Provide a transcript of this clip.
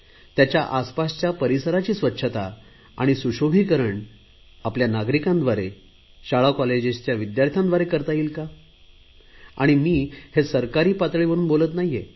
त्याच्या आसपासच्या परिसराची स्वच्छता आणि सुशोभीकरण आपल्या नागरिकांद्वारे शाळाकॉलेजच्या विद्यार्थ्यांद्वारे करता येईल का आणि मी हे सरकारी पातळीवरुन बोलत नाहीये